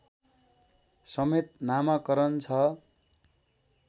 समेत नामाकरण छ